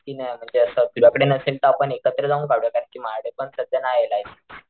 कि नाही म्हणजे असं तुझ्या कडे नसेल तर आपण एकत्र जावून काढूयात कारण कि माझ्याकडे पण नाहीये सध्या लायसन्स.